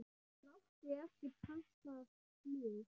Hann átti ekki pantað flug til